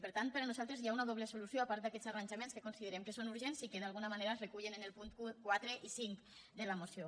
per tant per a nosaltres hi ha una doble solució a part d’aquests arranjaments que considerem que són ur·gents i que d’alguna manera es recullen en els punts quatre i cinc de la moció